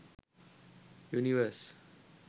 univers